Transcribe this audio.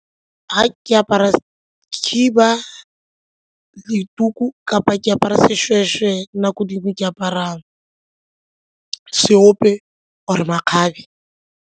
Ga ke apara khiba le tuku kapa ke apara seshweshwe nako dingwe ke apara ka seope or-e makgabe.